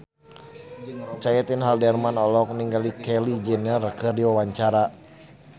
Caitlin Halderman olohok ningali Kylie Jenner keur diwawancara